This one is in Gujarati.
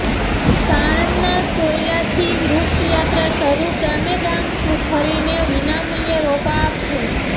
સાણંદના સોયલાથી વૃક્ષરથયાત્રા શરૂ ગામેગામ ફરીને વિનામૂલ્યે રોપા આપશે